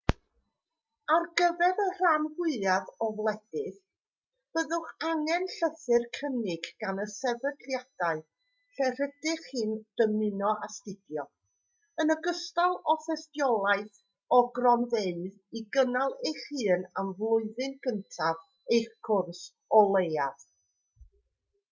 ar gyfer y rhan fwyaf o wledydd byddwch angen llythyr cynnig gan y sefydliadau lle rydych chi'n dymuno astudio yn ogystal â thystiolaeth o gronfeydd i gynnal eich hun am flwyddyn gyntaf eich cwrs o leiaf